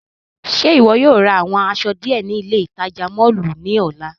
Ṣe iwọ yóò ra awọn aṣọ diẹ ni ile itaja mọllu ni ọla?